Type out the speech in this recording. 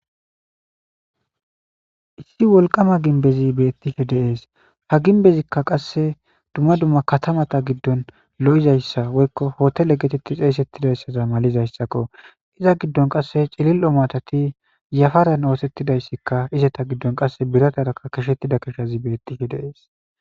Issi woliqama gimibezi betishe deesi ha gibezikka qase dumma dumma katamata giddoni looizayisa woyikko hotele getetidi xesetizayosa gidoyisaza malizayisakko iza giddoni qase cililo matati yafarani othetizayisikka izeta giddoni qasekka biratara qachetidayisi betishe deesi